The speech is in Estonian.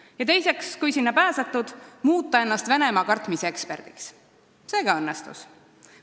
Ja teiseks, kui sinna on pääsetud, muuta ennast Venemaa kartmise eksperdiks, mis ka õnnestus.